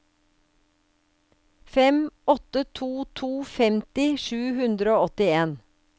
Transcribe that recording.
fem åtte to to femti sju hundre og åttien